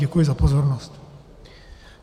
Děkuji za pozornost.